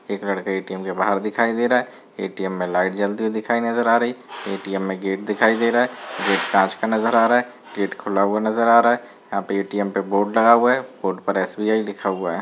एक लड़का ए.टी.एम. बाहर दिखाई दे रहा है ए.टी.एम. में लाइट जलती हुई दिखाई नजर आ रही है ए.टी.एम. में गेट दिखाई दे रहा है गेट कांच का नजर आ रहा है गेट खुला हूआ नजर आ रहा है यहां पे ए.टी.एम. पे बोर्ड लगा हुआ है बोर्ड पे एस.बी.आई. लिखा हुआ है।